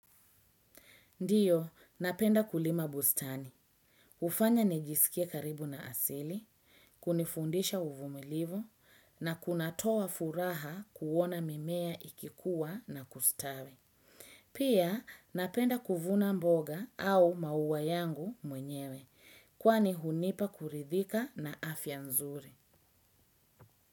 Ndiyo, napenda kulima bustani. Hufanya nijisikie karibu na asili, kunifundisha uvumilivu, na kunatoa furaha kuona mimea ikikuwa na kustawe. Pia napenda kuvuna mboga au maua yangu mwenyewe, kwani hunipa kuridhika na afya nzuri.